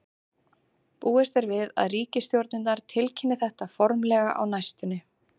Búist er við að ríkisstjórnirnar tilkynni þetta formlega á næstunni.